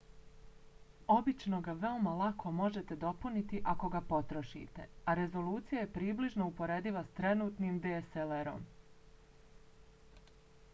obično ga veoma lako možete dopuniti ako ga potrošite a rezolucija je približno uporediva s trenutnim dslr-om